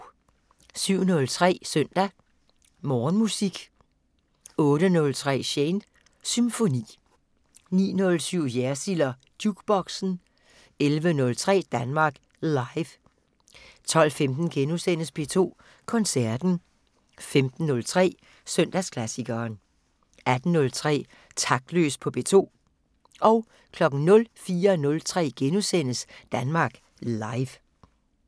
07:03: Søndag Morgenmusik 08:03: Shanes Symfoni 09:07: Jersild & Jukeboxen 11:03: Danmark Live 12:15: P2 Koncerten * 15:03: Søndagsklassikeren 18:03: Taktløs på P2 04:03: Danmark Live *